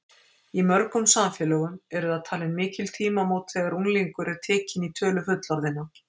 Í mörgum samfélögum eru það talin mikil tímamót þegar unglingur er tekinn í tölu fullorðinna.